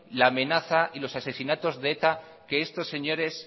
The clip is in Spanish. la amenaza y los asesinatos de eta que estos señores